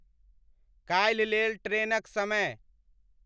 काल्हि लेल ट्रेनक समय